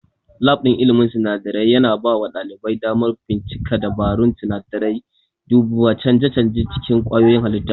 Lab ɗin ilmin sinadarai yana bawa ɗalibai damar bincika dabarun sinadarai, duba canje-canje a cikin kwayoyin halitta.